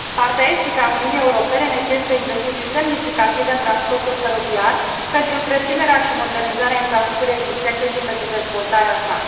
Partea estică a Uniunii Europene necesită investiții semnificative în transportul feroviar pentru întreținerea și modernizarea infrastructurii existente și pentru dezvoltarea sa.